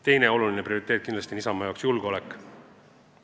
Teine oluline prioriteet on Isamaa jaoks kindlasti julgeolek.